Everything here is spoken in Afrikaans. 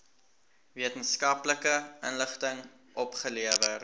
wetenskaplike inligting opgelewer